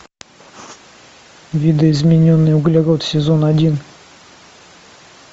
видоизмененный углерод сезон один